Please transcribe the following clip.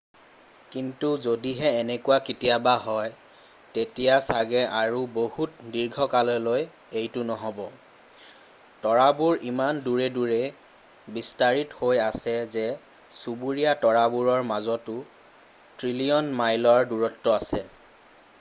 কিন্তু যদিহে এনেকুৱা কেতিয়াবা হয় তেতিয়া চাগে আৰু বহুত দীৰ্ঘকাললৈ এইটো নহব তৰাবোৰ ইমান দূৰে দূৰে বিস্তাৰিত হৈ আছে যে চুবুৰীয়া তৰাবোৰৰ মাজতো ট্ৰিলীয়ন মাইল ৰ দূৰত্ব আছে